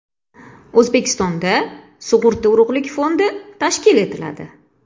O‘zbekistonda sug‘urta urug‘lik fondi tashkil etiladi.